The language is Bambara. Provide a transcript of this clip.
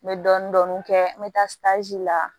N bɛ dɔɔnin dɔɔnin kɛ n bɛ taa la